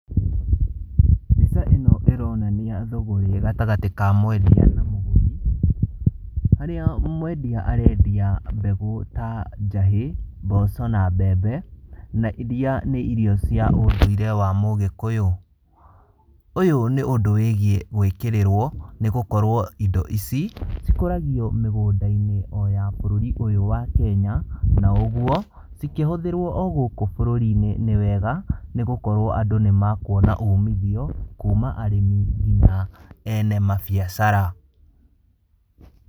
Mbica ĩno ĩronania thũgũrĩ gatagatĩ ka mwendia na mũgũri, harĩa mwendia arendia mbegũ ta njahĩ, mboco na mbembe, na iria nĩ irio cia ũndũire wa mũgĩkũyũ. Ũyũ nĩ ũndũ wĩgiĩ gũĩkĩrĩrwo nĩ gũkorwo indo ici cikũragio mĩgũnda-inĩ o ya bũrũri ũyũ wa Kenya, na ũguo cikĩhũthĩrwo o gũkũ bũrũri-inĩ nĩ wega, nĩ gũkorwo andũ nĩ makũona umithio kuma arĩmi nginya ene mabiacara.